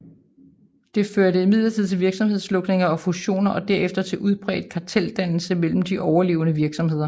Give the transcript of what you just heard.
Det førte imidlertid til virksomhedslukninger og fusioner og derefter til udbredt karteldannelse mellem de overlevende virksomheder